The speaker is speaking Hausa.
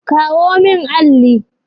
Kawo min alli!